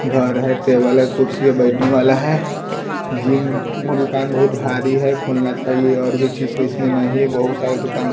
घर हैं टेबल हैं कुर्सी हैं बैठने वाला हैं जिम का दुकान बहुत भारी हैं खुल ना चाहिए और भी चीज़ पे इसमें नहीं बहोत सारे दुकान--